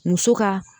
Muso ka